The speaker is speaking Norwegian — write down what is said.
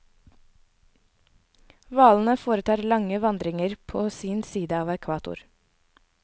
Hvalene foretar lange vandringer på sin side av ekvator.